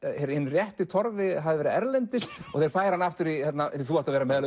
hinn rétti Torfi hafði verið erlendis og þeir færa hann aftur þú átt að vera meðal